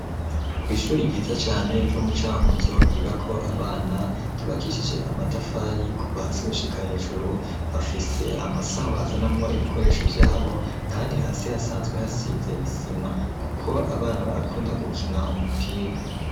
Kw'ishuri ryiza cane ryo mu Cankuzo ryigako abana ryubakishije amatafari kuva hasi gushika hejuru bafise amasaho bazanamwo ibikoresho vyabo kandi hasi hasanzwe hasize isima kuko abana barakunda gukina umupira.